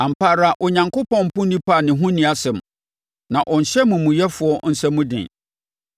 “Ampa ara Onyankopɔn mpo onipa a ne ho nni asɛm na ɔnhyɛ amumuyɛfoɔ nsa mu dene.